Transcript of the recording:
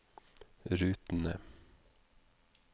rutene